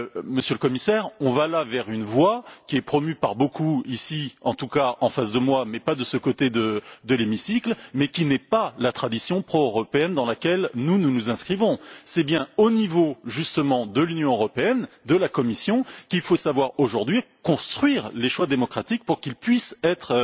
Monsieur le Commissaire, nous nous engouffrons là dans une voie qui est promue par beaucoup ici, en tout cas en face de moi, mais pas de ce côté ci de l'hémicycle, et qui n'est pas la tradition pro européenne dans laquelle nous, nous nous inscrivons. C'est bien au niveau, justement, de l'Union européenne et de la Commission qu'il faut savoir aujourd'hui construire les choix démocratiques pour qu'ils puissent être